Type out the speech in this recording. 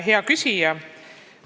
Hea küsija!